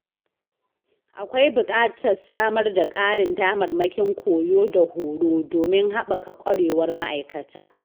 Akwai buƙatar samar da ƙarin damarmakin koyo da horo, domin haɓaka ƙwarewar ma’aikata.